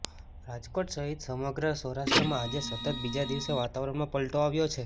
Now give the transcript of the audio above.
રાજકોટ સહિત સમગ્ર સૌરાષ્ટ્રમાં આજે સતત બીજા દિવસે વાતાવરણમાં પલટો આવ્યો છે